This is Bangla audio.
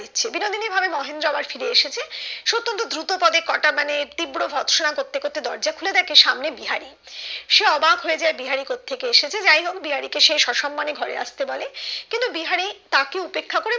বিনোদিনী ভাবে মহেন্দ্র আবার ফিরে এসেছে সে অতন্ত দ্রুত পদে কোটা মানে তীব্র ভর্ৎসনা করতে করতে দরজা খুলে দেখে সামনে বিহারি সে অবাক হয়ে যায় বিহারি কথ থেকে এসেছে যাইহোক বিহারি কে সে সসম্মানে ঘরে আসতে বলে কিন্তু বিহারি তাকে উপেক্ষা করে